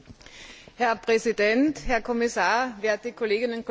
Herr Präsident, Herr Kommissar, werte Kolleginnen und Kollegen!